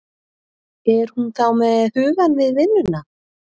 Er hún þá með hugann við vinnuna?